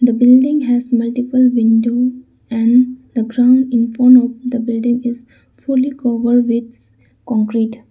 the building has multiple window and the ground infont of the building is fully covered with concrete.